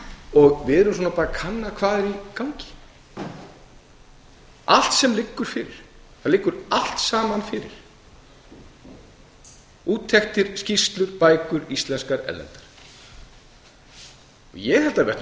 og við erum bara að kanna hvað er í gangi allt sem liggur fyrir það liggur allt saman fyrir úttektir skýrslur bækur íslenskar erlendar ég held að